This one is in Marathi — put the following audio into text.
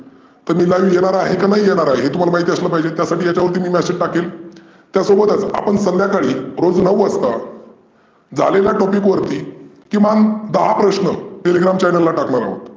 तर मी live येणार आहे की नाही येणार आहे हे तुम्हाला माहिती असलं पाहीजे त्यासाठी मी याच्यावर message टाकेल. त्या सोबतच आपण संध्याकाळी रोज नऊ वाजता झालेल्या topic वरती किमान दहा प्रश्न Telegram Channel ला टाकनार आहोत.